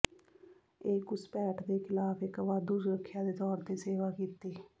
ਇਹ ਘੁਸਪੈਠ ਦੇ ਖਿਲਾਫ ਇੱਕ ਵਾਧੂ ਸੁਰੱਖਿਆ ਦੇ ਤੌਰ ਤੇ ਸੇਵਾ ਕੀਤੀ